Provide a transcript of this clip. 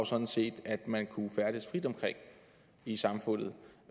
sådan set at man skal kunne færdes frit omkring i samfundet